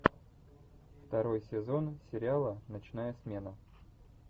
второй сезон сериала ночная смена